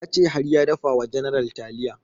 Ya ce har ya dafa wa general taliya